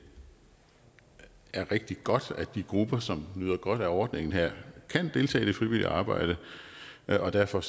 er rigtig godt at de grupper som nyder godt af ordningen her kan deltage i det frivillige arbejde og derfor